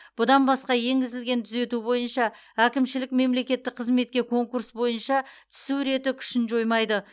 бұдан басқа енгізілген түзету бойынша әкімшілік мемлекеттік қызметке конкурс бойынша түсу реті күшін жоймайды